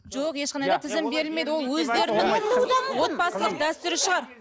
жоқ ешқандай да тізім берілмейді ол өздерінің отбасылық дәстүрі шығар